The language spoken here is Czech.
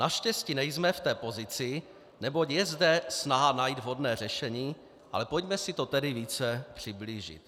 Naštěstí nejsme v té pozici, neboť je zde snaha najít vhodné řešení, ale pojďme si to tedy více přiblížit.